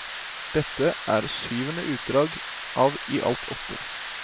Dette er syvende utdrag av i alt åtte.